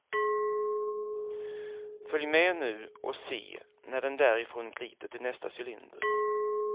Följ med nu och se när den därifrån glider till nästa cylinder.